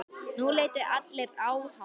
Nú litu allir á hann.